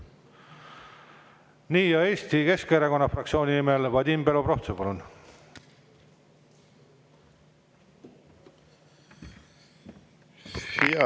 Nii, ja Eesti Keskerakonna fraktsiooni nimel Vadim Belobrovtsev, palun!